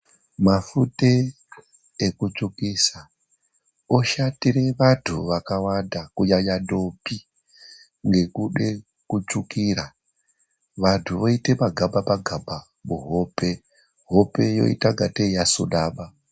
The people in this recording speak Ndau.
Mafuta ekutsvukisa oshatire vantu vakawanda. Kunyanyanyanya ndombi nekuda kutsvukira, vantu voita magamba magamba kuhope. Hope yoita sekunge yasunama.